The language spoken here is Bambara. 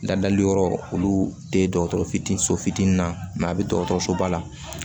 Ladali yɔrɔ olu tɛ dɔgɔtɔrɔ fitinin so fitinin na a bɛ dɔgɔtɔrɔsoba la